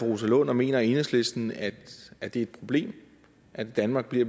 rosa lund og mener enhedslisten at det er et problem at danmark bliver